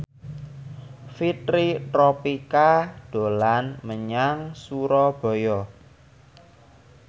Fitri Tropika dolan menyang Surabaya